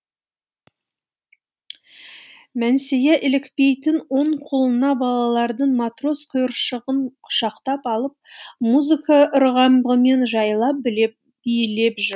мәнсия илікпейтін оң қолына балалардың матрос құйыршығын құшақтап алып музыка ырғағымен жайлап билеп жүр